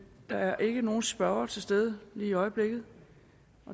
der er ikke nogen spørger til stede lige i øjeblikket